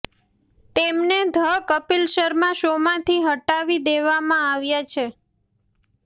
તેમને ધ કપિલ શર્મા શોમાંથી હટાવી દેવામાં આવ્યા છે